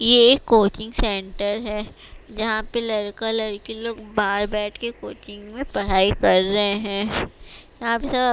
ये एक coaching centre है जहाँ पर लरका लरकी लोग बाहर बैठ के कोचिंग में पढ़ाई कर रहे हैं यहाँ पे सब --